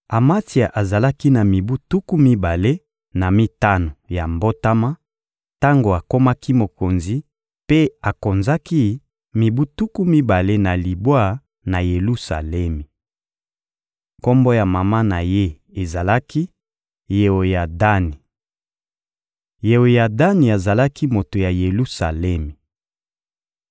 Amatsia azalaki na mibu tuku mibale na mitano ya mbotama tango akomaki mokonzi, mpe akonzaki mibu tuku mibale na libwa na Yelusalemi. Kombo ya mama na ye ezalaki «Yeoyadani.» Yeoyadani azalaki moto ya Yelusalemi.